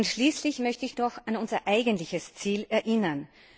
Schließlich möchte ich noch an unser eigenes Ziel erinnern.